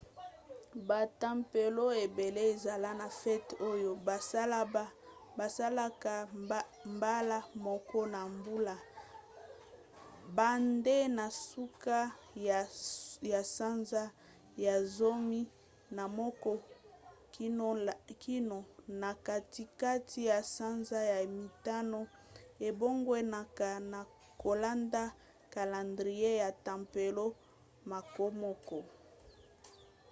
batempelo ebele ezala na fete oyo basalaka mbala moko na mbula banda na suka ya sanza ya zomi na moko kino na katikati ya sanza ya mitano; ebongwanaka na kolanda kalandrie ya tempelo mokomoko